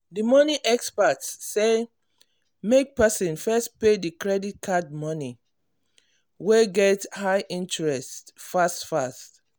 the money experts say make person first pay the credit card money wey get high interest fast fast.